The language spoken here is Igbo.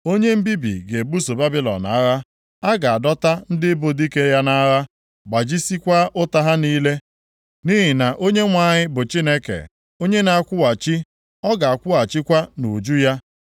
Onye mbibi ga-ebuso Babilọn agha. A ga-adọta ndị bụ dike ya nʼagha, gbajisiekwa ụta ha niile. Nʼihi na Onyenwe anyị bụ Chineke onye na-akwụghachi; ọ ga-akwụghachikwa nʼuju ya.